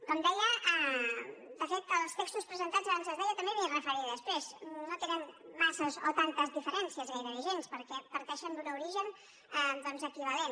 com deia de fet els textos presentats abans es deia també m’hi referiré després no tenen massa o tantes diferències gairebé cap perquè parteixen d’un origen doncs equivalent